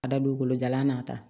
Ka da don kolo jalan nata